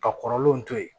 Ka kɔrɔlenw to ye